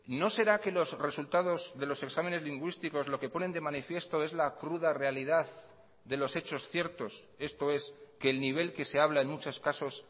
no será que los resultados de los exámenes lingüísticos lo que ponen de manifiesto es la cruda realidad de los hechos ciertos esto es que el nivel que se habla en muchos casos